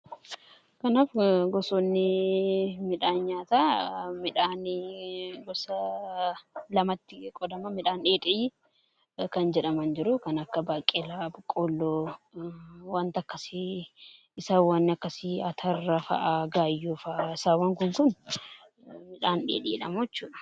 Kanaaf gosoonni midhaan nyaataa midhaanii gosa lamatti qodama. Midhaan dheedhii kan jedhaman jiru kan akka baaqeelaa, boqolloo wanti wanni akkasii ataraafaa gaayyoofa isaawwan kun midhaan dheedhiidha.